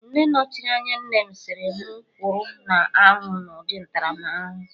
Nne nọchiri anya nnem sịrị mụ kwụrụ na anwụ na ụdị ntaramahụhụ